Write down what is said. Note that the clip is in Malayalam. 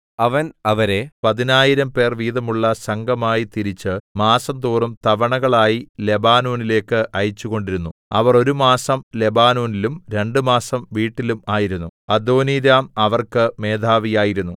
അവൻ അവരെ പതിനായിരംപേർ വീതമുള്ള സംഘമായി തിരിച്ച് മാസംതോറും തവണകളായി ലെബാനോനിലേക്ക് അയച്ചുകൊണ്ടിരുന്നു അവർ ഒരു മാസം ലെബാനോനിലും രണ്ടുമാസം വീട്ടിലും ആയിരുന്നു അദോനീരാം അവർക്ക് മേധാവി ആയിരുന്നു